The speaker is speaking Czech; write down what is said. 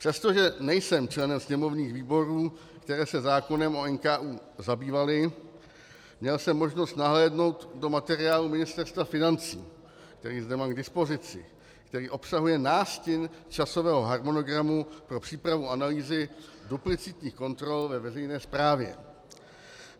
Přestože nejsem členem sněmovních výborů, které se zákonem o NKÚ zabývaly, měl jsem možnost nahlédnout do materiálu Ministerstva financí, který zde mám k dispozici, který obsahuje nástin časového harmonogramu pro přípravu analýzy duplicitních kontrol ve veřejné správě.